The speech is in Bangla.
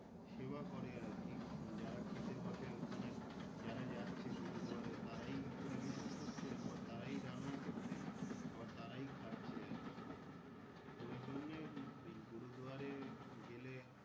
সেবা করে আরকি যারা খেতে বসে ওখানে যারা যাচ্ছে গুরুদুয়ারে তারাই পরিবেশন করছে আবার তারাই রান্না করছে আবার তারাই খাচ্ছে আরকি তো ওই জন্যেই ও গুরুদুয়ারে গেলে।